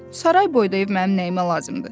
Saray boyda ev mənim nəyimə lazımdır?